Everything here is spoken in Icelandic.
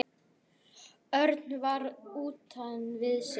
Örn var utan við sig.